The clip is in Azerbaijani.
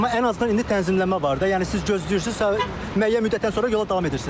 Amma ən azından indi tənzimləmə var da, yəni siz gözləyirsiz, müəyyən müddətdən sonra yola davam edirsiz.